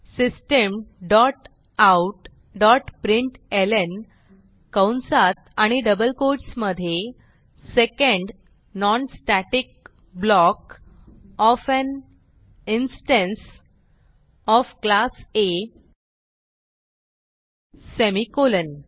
system dot out dot प्रिंटलं कंसात आणि डबल कोट्स मधे second non static block of an instance of class A semicolon